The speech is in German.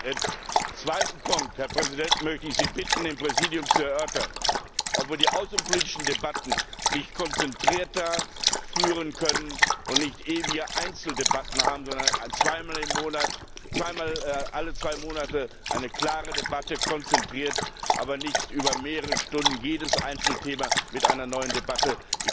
Als zweiten Punkt, Herr Präsident, möchte ich Sie bitten, im Präsidium zu erörtern, ob wir die außenpolitischen Debatten nicht konzentrierter führen können und nicht ewige Einzeldebatten haben, sondern alle zwei Monate eine klare Debatte konzentriert, aber nicht über mehrere Stunden jedes Einzelthema mit einer neuen Debatte.